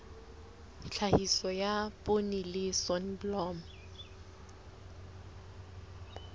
tlhahiso ya poone le soneblomo